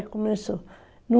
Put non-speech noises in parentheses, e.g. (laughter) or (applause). (unintelligible) começou.